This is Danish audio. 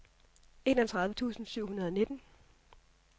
enogtredive tusind syv hundrede og nitten